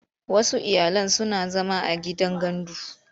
Wasu iyalan suna zama a gidan gandu.